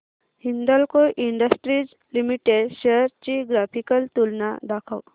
Hindalco industries limited shares ची graphical तुलना दाखव